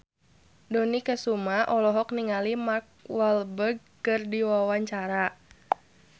Dony Kesuma olohok ningali Mark Walberg keur diwawancara